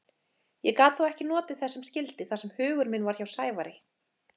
Ég gat þó ekki notið þess sem skyldi þar sem hugur minn var hjá Sævari.